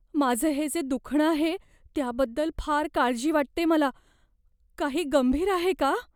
माझं हे जे दुखणं आहे त्याबद्दल फार काळजी वाटतेय मला. काही गंभीर आहे का?